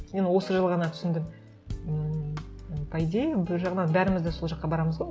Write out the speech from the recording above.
мен осы жылы ғана түсіндім ммм по идее бір жағынан бәріміз де сол жаққа барамыз ғой